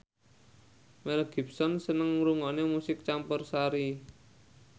Mel Gibson seneng ngrungokne musik campursari